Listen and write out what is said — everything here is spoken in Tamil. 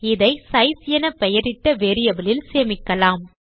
இதை சைஸ் என பெயரிட்ட வேரியபிள் இல் சேமிக்கலாம்